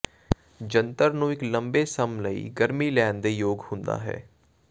ਜੰਤਰ ਨੂੰ ਇੱਕ ਲੰਬੇ ਸਮ ਲਈ ਗਰਮੀ ਲੈਣ ਦੇ ਯੋਗ ਹੁੰਦਾ ਹੈ